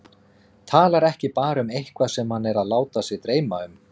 Talar ekki bara um eitthvað sem hann er að láta sig dreyma um.